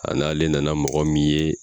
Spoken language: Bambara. A n'ale nana mɔgɔ min ye.